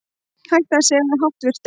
Hætt að segja háttvirtur